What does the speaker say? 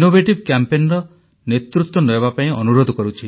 innovative କ୍ୟାମ୍ପେନର ନେତୃତ୍ୱ ନେବାପାଇଁ ଅନୁରୋଧ କରୁଛି